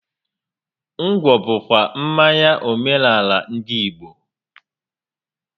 Ngwọ bụ kwa mmanya omenaala ndị Igbo